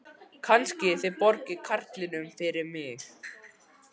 Kannski þið borgið karlinum fyrir mig.